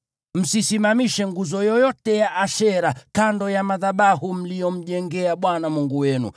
Msisimamishe nguzo yoyote ya Ashera kando ya madhabahu mliyomjengea Bwana Mungu wenu,